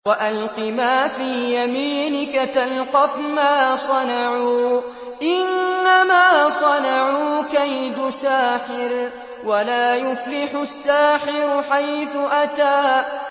وَأَلْقِ مَا فِي يَمِينِكَ تَلْقَفْ مَا صَنَعُوا ۖ إِنَّمَا صَنَعُوا كَيْدُ سَاحِرٍ ۖ وَلَا يُفْلِحُ السَّاحِرُ حَيْثُ أَتَىٰ